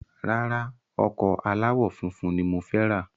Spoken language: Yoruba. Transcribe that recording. Rárá, ọkọ̀ aláwò funfun ni mo fẹ ra